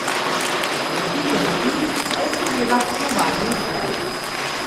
Za piko na i pa je seveda tekmovalni uspeh.